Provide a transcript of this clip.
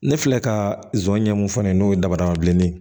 Ne filɛ ka zonɲɛ mun fɔ nin ye n'o ye dabada bilenni ye